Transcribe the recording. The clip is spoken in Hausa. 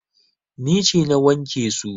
Ni ce na wanke su.